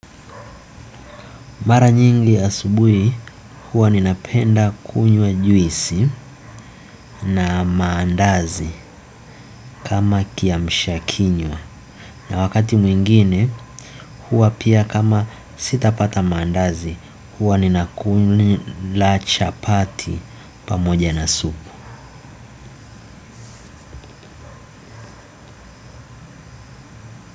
Mara nyingi asubuhi huwa ninapenda kunywa juisi na mandazi kama kiamshakinywa na wakati mwingine huwa pia kama sitapata mandazi huwa ninakula chapati pamoja na supu.